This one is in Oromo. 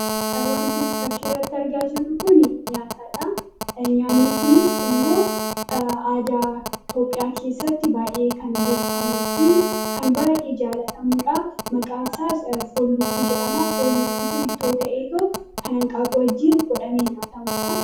wanti nutii fakkii irratti argaa jirru kun nyaataadha nyaanni kunis immoo aadaa itoophiyaa keessatti baay'ee kan beekamuu fi kan baay'ee jaalatamuudha maqaan isaas foon lukkuu jedhama foon lukkuu kun ittoo ta'ee too kan hanqaaqu wajjiin godhamee nyaatamuudha